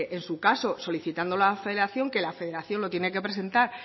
en su caso solicitando la federación que la federación lo tiene que presentar